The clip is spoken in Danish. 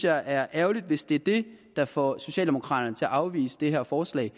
er ærgerligt hvis det er det der får socialdemokraterne til at afvise det her forslag